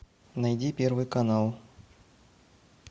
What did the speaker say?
найди первый канал